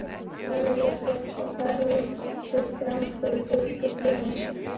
Þá verður fljótt að fara úr þér drambið, biskup Jón!